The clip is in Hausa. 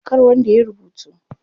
Kar wanda yayi rubutu.